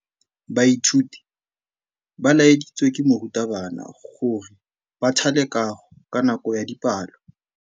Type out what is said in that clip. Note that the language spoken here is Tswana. Baithuti ba laeditswe ke morutabana gore ba thale kagô ka nako ya dipalô.